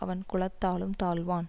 அவன் குலத்தாலும் தாழ்வான்